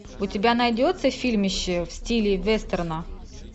у тебя найдется фильмище в стиле вестерна